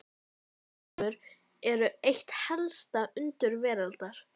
Stofnfrumur eru eitt helsta undur veraldar.